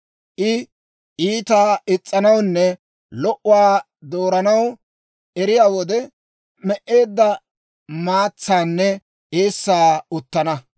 I iitaa is's'anawunne lo"uwaa dooranaw eriyaa wode, me"eedda maatsaanne eessaa uttana.